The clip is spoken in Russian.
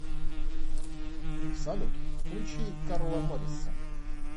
салют включи карла моррисон